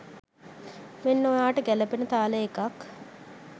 මෙන්න ඔයාට ගැලපෙන තාලේ එකක්.